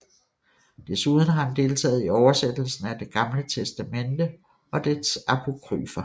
Desuden har han deltaget i oversættelsen af det Gamle Testamente og dets apokryfer